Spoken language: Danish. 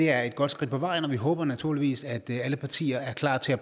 er et godt skridt på vejen og vi håber naturligvis at alle partier er klar til at